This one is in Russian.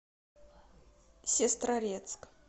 сестрорецк